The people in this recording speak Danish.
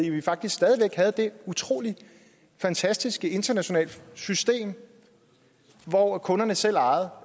at vi faktisk stadig væk havde det utrolig fantastiske internationale system hvor kunderne selv ejede